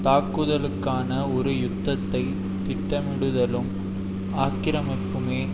தாக்குதலுக்கான ஒரு யுத்தத்தை திட்டமிடுதலும் ஆக்கிரமிப்புமே